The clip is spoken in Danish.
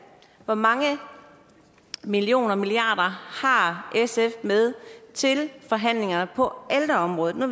hvor mange millioner og milliarder har sf med til forhandlingerne på ældreområdet nu